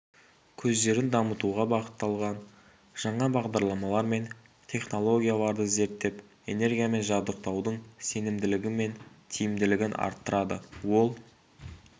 көздерін дамытуға бағытталған жаңа бағдарламалар мен технологияларды зерттеп энергиямен жабдықтаудың сенімділігі мен тиімділігін арттырады ол